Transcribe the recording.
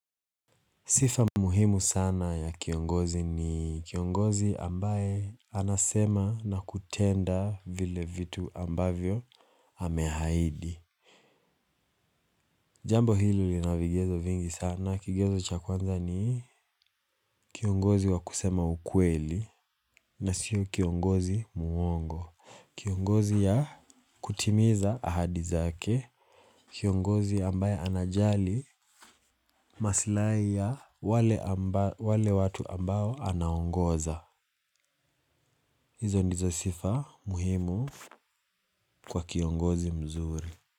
Sifa muhimu sana ya kiongozi ni kiongozi ambaye anasema na kutenda vile vitu ambavyo amehaidi. Jambo hili lina vigezo vingi sana kigezo cha kwanza ni kiongozi wa kusema ukweli na sio kiongozi muongo. Kiongozi ya kutimiza ahadi zake kiongozi ambaye anajali masilai ya wale watu ambao anaongoza. Izo ndizo sifa muhimu kwa kiongozi mzuri.